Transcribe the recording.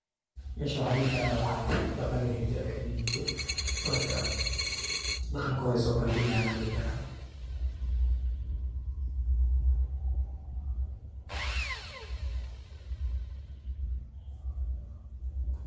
Meeshan waxaan dhihi karaa waxaa waye dhaqan iyo hido , markaa dhaqankooday soobandhigayan aan dhihi karaa.